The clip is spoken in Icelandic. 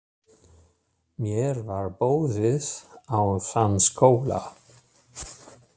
Mér var boðið á þann skóla.